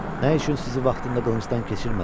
Nə üçün sizi vaxtında qılıncdan keçirmədim?